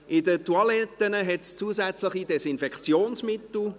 In den Toiletten hat es zusätzlich Desinfektionsmittel.